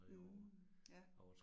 Mh ja